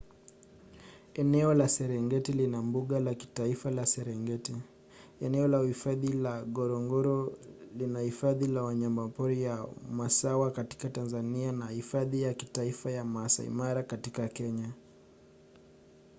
eneo la serengeti lina mbuga la kitaifa la serengeti eneo la uhifadhi la ngorongoro na hifadhi ya wanyamapori ya maswa katika tanzania na hifadhi ya kitaifa ya maasai mara katika kenya